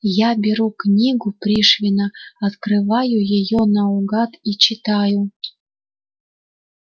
я беру книгу пришвина открываю её наугад и читаю